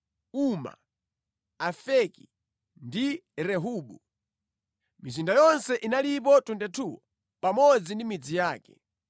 Uma, Afeki ndi Rehobu. Mizinda yonse inalipo 22 pamodzi ndi midzi yake.